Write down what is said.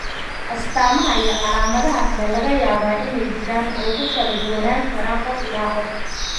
astamaha iyo calaamadaha kale ayaa laga yaabaa inay jiraan oo ku kala duwanaan karaan qof ilaa qof.